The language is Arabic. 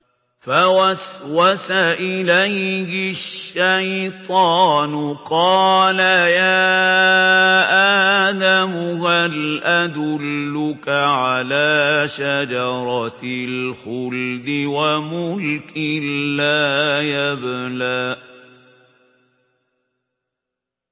فَوَسْوَسَ إِلَيْهِ الشَّيْطَانُ قَالَ يَا آدَمُ هَلْ أَدُلُّكَ عَلَىٰ شَجَرَةِ الْخُلْدِ وَمُلْكٍ لَّا يَبْلَىٰ